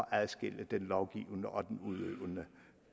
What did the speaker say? adskille den lovgivende og den udøvende